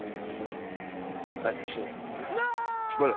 আচ্ছা বলো